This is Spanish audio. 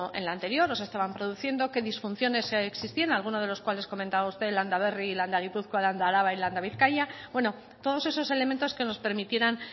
en la anterior o se estaban produciendo qué disfunciones existían alguno de los cuales comentaba usted landaberri y landagipuzkoa landaaraba y landabizkaia bueno todo esos elementos que nos permitieran